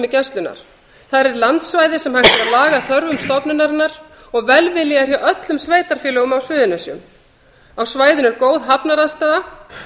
gæslunnar þar er landsvæði sem hægt er að laga að þörfum stofnunarinnar og velvilji er hjá öllum sveitarfélögunum á suðurnesjum á svæðinu er góð hafnaraðstaða